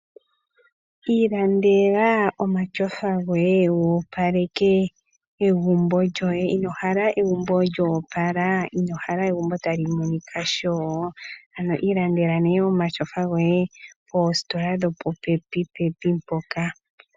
Iilandela oma shofa goye goopaleke egumbo lyoe. Inohala egumbo lyoopala? inohala egumbo tali monika nawa? ano iilandela oma shofa goye poositola dho po pepi pepi mpoka.